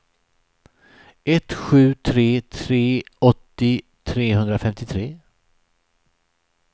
ett sju tre tre åttio trehundrafemtiotre